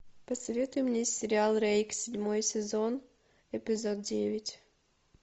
посоветуй мне сериал рейк седьмой сезон эпизод девять